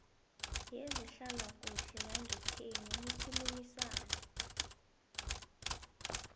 yezehlalakuhle yangekhenu nikhulumisane